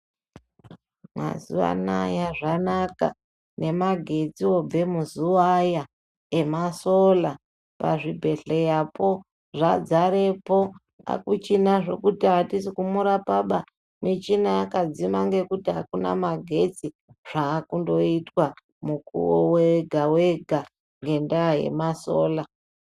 Mazuva anaya zvanaka nemagetsi obve muzuva aya, esora, pazvibhedhlerapo zvadzarepo. Hakuchina zvekuti atisikumurapaba, michina yakadzima ngekuti akuna magetsi, zvakundoitwa mukuwo wega-wega ngendaa yema sora.